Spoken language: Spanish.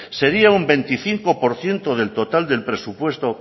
sería un veinticinco por ciento del total del presupuesto